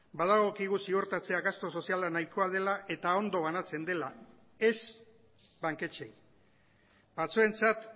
badagokigu ziurtatzea gastu soziala nahikoa dela eta ondo banatzen dela ez banketxeei batzuentzat